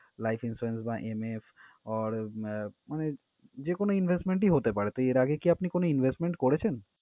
life insurance বা MF or আহ মানে যে কোনও investment ই হতে পারে। তো, এর আগে কী আপনি কোনও investment করেছেন?